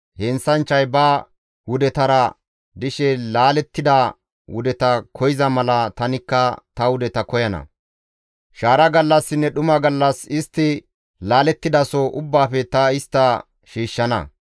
Heenththanchchay ba wudetara dishe laalettida wudeta koyza mala tanikka ta wudeta koyana; shaara gallassinne dhuma gallas istti laalettidaso ubbaafe ta istta shiishshana.